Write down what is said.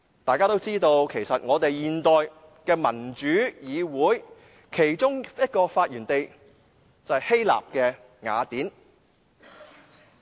大家也知道，其實現代民主議會的其中一個發源地，就是希臘雅典。